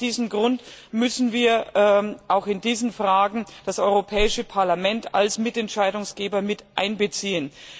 Aus diesem Grund müssen wir auch in diesen Fragen das Europäische Parlament als Mitentscheidungsträger einbeziehen.